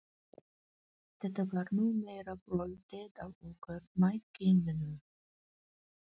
Þetta var nú meira bröltið á okkur mæðginunum.